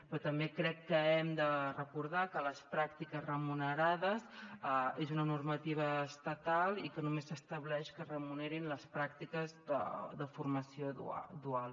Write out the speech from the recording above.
però també crec que hem de recordar que les pràctiques remunerades són una normativa estatal i que només s’estableix que es remunerin les pràctiques de formació dual